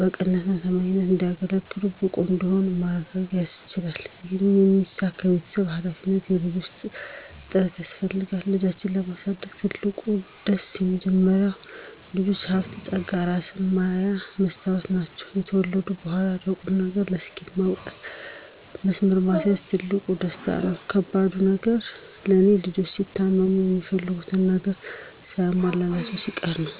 በቅንነትና በታማኝነት አገልጋይ፣ ብቁ እንዲሆኑ ማድረግ ማስቻል ይህም እንዲሳካ የቤተሰብም ሀላፊነት የልጆችም ጥረት ያስፈልጋል። ልጆችን የማሳደግ ትልቁ ደስ፦ መጀመሪያ ልጆች ሀብት ፀጋ እራስን ማያ መስታወት ናቸው። ከተወለዱ በኋላም ለቁም ነገር፣ ለስኬት ማብቃትም መስመር ማስያዝም ትልቁ ደስታ ነው። ከባዱ ነገር ለኔ፦ ልጆች ሲታመሙ፣ የሚፈልጉትን ነገር ሳይሟላላቸው ሲቀር ነው።